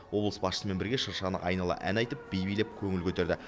облыс басшысымен бірге шыршаны айнала ән айтып би билеп көңіл көтерді